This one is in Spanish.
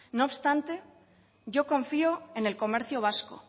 no obstante yo confío en el comercio vasco